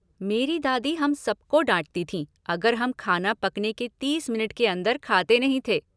मेरी दादी हम सब को डाटती थी अगर हम खाना पकने के तीस मिनट के अंदर खाते नहीं थे।